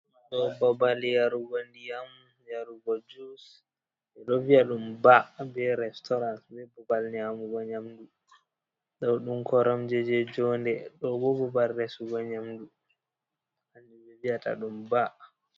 Ɗo babal yarugo ndiyam, yarugo juice, ɓedo viya ɗum "bar" be "restaurant" be babal nyamugo nyamdu ɗo ɗum koromje je jonde, ɗo babal resugo nyamdu vi’ata ɗum "bar".